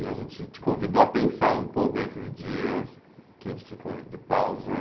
E a gente te convidou a pensar um pouco nesses dias que a gente ficou de pausa.